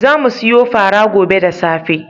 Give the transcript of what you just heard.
Za mu siyo fara gobe da safe.